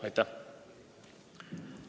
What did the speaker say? Aitäh!